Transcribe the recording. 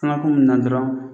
An ka kun ninnu na dɔrɔn